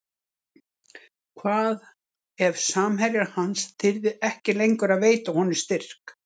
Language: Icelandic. Hvað ef samherjar hans þyrði ekki lengur að veita honum styrk?